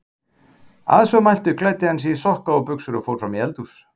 Að svo mæltu klæddi hann sig í sokka og buxur og fór fram í eldhús.